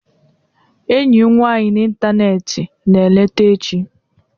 Enyi m nwanyị n'ịntanetị na-eleta echi.